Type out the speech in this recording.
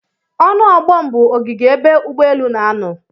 Ọnu ogbom bụ ogige ebe ụgbọ elu n'anọ.